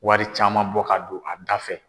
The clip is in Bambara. Wari caman bɔ ka don a da fɛ.